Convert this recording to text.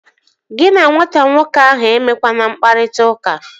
Gị na nwata nwoke ahụ emekwana mkpakọrịta!